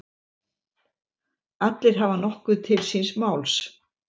Allir hafa nokkuð til síns máls.